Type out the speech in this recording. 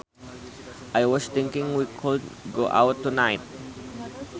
I was thinking we could go out tonight